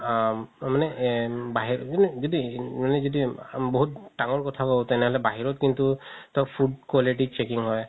আ তাৰমানে যদি যদি মানে যদি বহুত ডাঙৰ কথা তেনেহ'লে বাহিৰত কিন্তু food quality checking হয়